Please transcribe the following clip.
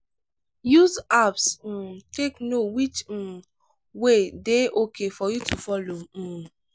use apps um take know which um way dey okay for you to follow um